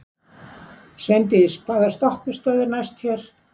Sveindís, hvaða stoppistöð er næst mér?